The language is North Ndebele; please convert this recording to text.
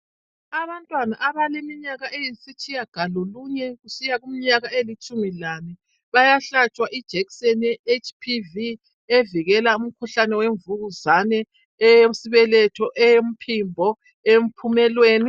Abantwana abaleminyaka eyisitshiya galolunye kusiya kuminyaka elitshumi lanye ,bayahlatshwa ijekiseni ye HPV evikela umkhuhlane yemvukuzane ,yesibeletho ,yompimbo yemuphumelweni.